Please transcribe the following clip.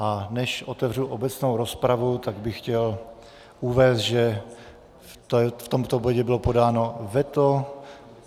A než otevřu obecnou rozpravu, tak bych chtěl uvést, že v tomto bodě bylo podáno veto.